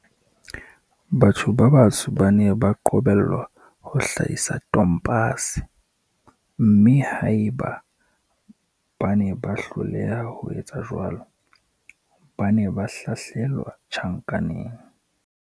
Batho ba batsho ba ne ba qobellwa ho hlahisa tompase, mme haeba bane ba hloleha ho etsa jwalo, ba ne ba hlahlelwa tjhankaneng.